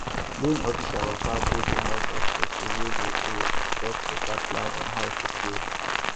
loan officer waka go the house of person wey dey owe to talk better plan on how to pay